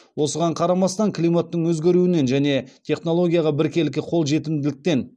осыған қарамастан климаттың өзгеруінен және технологияға біркелкі қол жетімділіктен